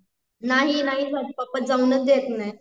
नाही नाही जात पप्पा जाऊच देत नाही